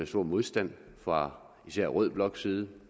stor modstand fra især rød bloks side